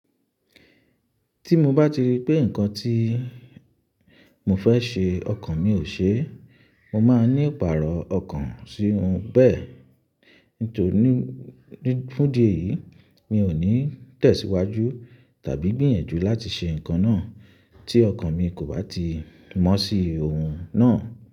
Tí mo bá ti rí pé nǹkan tí mo fẹ́ ṣe ọkàn mi ò ṣe, mo máa ní ìpààrọ̀ ọkàn sí ohun bẹ́ẹ̀. Nítorí fún dí yìí mi ò ní tẹ̀síwájú tàbí gbìyànjú láti ṣe nǹkan náà tí ọkàn mi kò bá ti mọ́ sí ohun náà.